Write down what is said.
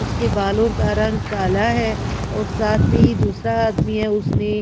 उसके बालों का रंग काला है और साथ में ही दूसरा आदमी है उसने--